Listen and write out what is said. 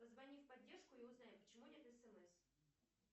позвони в поддержку и узнай почему нет смс